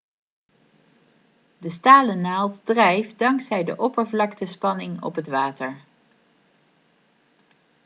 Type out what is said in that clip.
de stalen naald drijft dankzij de oppervlaktespanning op het water